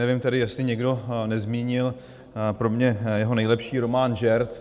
Nevím tedy, jestli někdo nezmínil pro mě jeho nejlepší román Žert.